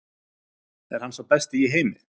Er hann sá besti í heimi?